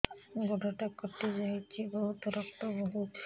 ଗୋଡ଼ଟା କଟି ଯାଇଛି ବହୁତ ରକ୍ତ ବହୁଛି